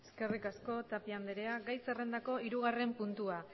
eskerrik asko tapia andrea gai zerrendako hirugarren puntua